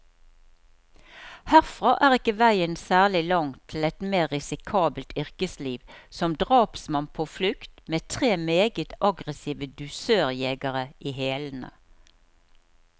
Herfra er ikke veien særlig lang til et mer risikabelt yrkesliv, som drapsmann på flukt, med tre meget aggressive dusørjegere i hælene.